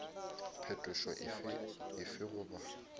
phetošo efe goba efe goba